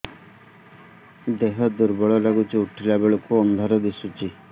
ଦେହ ଦୁର୍ବଳ ଲାଗୁଛି ଉଠିଲା ବେଳକୁ ଅନ୍ଧାର ଦିଶୁଚି